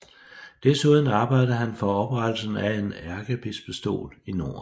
Desuden arbejdede han for oprettelsen af en ærkebispestol i Norden